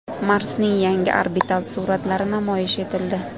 Marsning yangi orbital suratlari namoyish etildi.